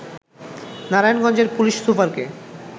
নারায়ণগঞ্জের পুলিশ সুপারকে